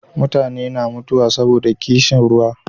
mutane na mutuwa saboda ƙishin ruwa